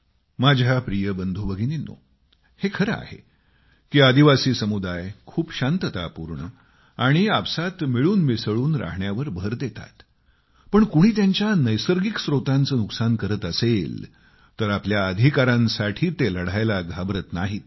माझ्या प्रिय बंधूभगिनींनो हे खरं आहे की आदिवासी समुदाय खूप शांततापूर्ण आणि आपसात मिळून मिसळून राहण्यावर भर देतात पण कुणी त्यांच्या नैसर्गिक स्त्रोतांचे नुकसान करत असेल तर आपल्या अधिकारांसाठी ते लढायला घाबरत नाहीत